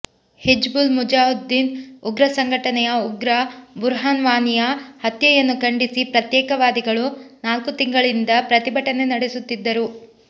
ಹಿಜ್ಬುಲ್ ಮುಜಾಹಿದ್ದೀನ್ ಉಗ್ರ ಸಂಘಟನೆಯ ಉಗ್ರ ಬುರ್ಹಾನ್ ವಾನಿಯ ಹತ್ಯೆಯನ್ನು ಖಂಡಿಸಿ ಪ್ರತ್ಯೇಕತಾವಾದಿಗಳು ನಾಲ್ಕು ತಿಂಗಳಿನಿಂದ ಪ್ರತಿಭಟನೆ ನಡೆಸುತ್ತಿದ್ದರು